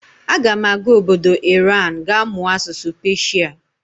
Aga m aga obodo Iran ga mụọ asụsụ Peshia.